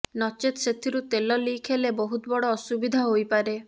ନଚେତ ସେଥିରୁ ତେଲ ଲିକ୍ ହେଲେ ବହୁତ ବଡ଼ ଅସୁବିଧା ହୋଇପାରେ